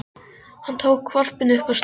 Hann tók hvolpinn upp og strauk honum.